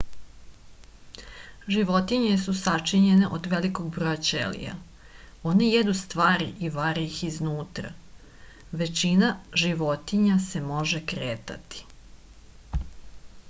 životinje su sačinjene od velikog broja ćelija one jedu stvari i vare ih iznutra većina životinja se može kretati